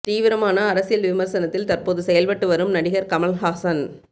தீவிரமான அரசியல் விமரிசனத்தில் தற்போது செயல்பட்டு வரும் நடிகர் கமல் ஹாசன்